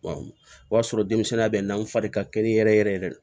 o y'a sɔrɔ denmisɛnninya bɛ n'an fari ka kɛnɛ yɛrɛ yɛrɛ